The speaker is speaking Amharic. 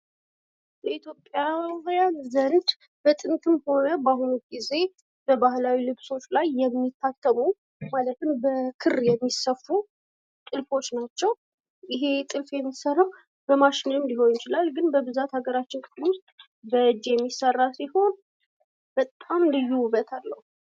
በኢትዮጵያዊያን ዘንድ ብወጥንትም ሆነ በአሁኑ ጊዜ በባህላዊ ልብሶች ላይ የሚታሰቡ ማለት ነው። በክር የሚሰፉ ጥልፎች ናቸው ።ይህ ጥልፍ የሚሰራው በማሽንም ሊሆን ይችላል ግን በብዛት ሀገራችን በእጅ የሚሰራ ሲሆን በጣም ልዩ ውበት አለው።